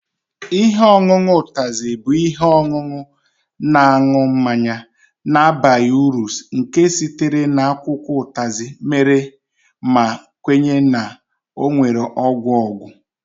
Ihe ọṅụṅụ Utazi bụ ihe ọṅụṅụ na-aṅụ mmanya na-abaghị uru nke sitere na akwụkwọ Utazi mere ma kwenye na ọ nwere ọgwụ ọgwụ